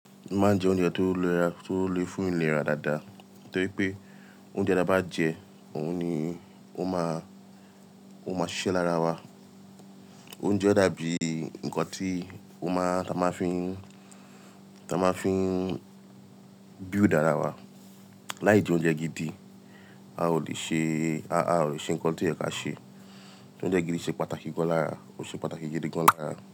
Máa ń jẹ oúnjẹ tó léra, tó le fún ìlera dáadáa, torí pé oúnjẹ tí a bá jẹ òun ni ó máa, ó máa ṣiṣẹ́ lára wa. Oúnjẹ dàbí ǹkan tí ó máa, tí a máa fi ń, tí a máa fi ń build ara wa. Láìdí oúnjẹ gidi, a ò lè ṣe, a ò lè ṣe ǹkan tí ẹ̀ka ṣe. Oúnjẹ gidi ṣe pàtàkì gán lára, ó ṣe pàtàkì gidi gán lára.